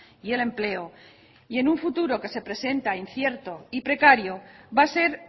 y el empleo y en un futuro que se presenta incierto y precario va a ser